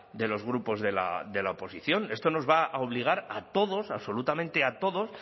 de los grupos de la oposición esto nos va a obligar a todos absolutamente a todos